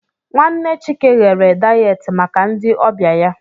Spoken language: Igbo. Nwanne Chike ghere dayet maka ndị ọbịa ya.